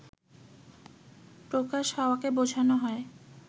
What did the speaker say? প্রকাশ হওয়াকে বোঝানো হয়